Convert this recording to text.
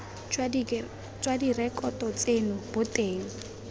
jwa direkoto tseno bo teng